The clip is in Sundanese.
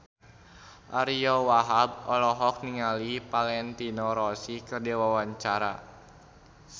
Ariyo Wahab olohok ningali Valentino Rossi keur diwawancara